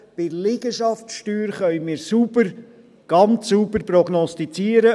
Bei der Liegenschaftssteuer können wir sauber, ganz sauber, prognostizieren.